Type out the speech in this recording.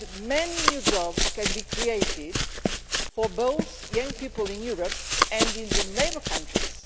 Many new jobs could be created for both young people in Europe and in the neighbouring countries.